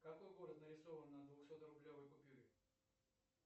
какой город нарисован на двухсотрублевой купюре